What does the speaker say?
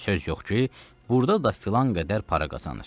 Söz yox ki, burda da filan qədər para qazanır.